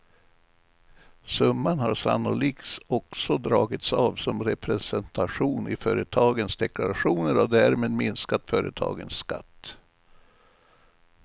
Summan har sannolikt också dragits av som representation i företagens deklarationer och därmed minskat företagens skatt.